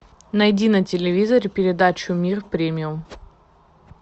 найди на телевизоре передачу мир премиум